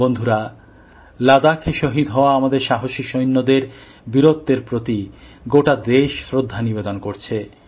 বন্ধুরা লাদাখে শহীদ হওয়া আমাদের সাহসী সৈন্যদের বীরত্বের প্রতি গোটা দেশ শ্রদ্ধা নিবেদন করছে